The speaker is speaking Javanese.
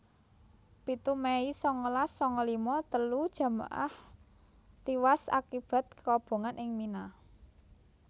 pitu mei sangalas sanga lima telu jamaah tiwas akibat kobongan ing Mina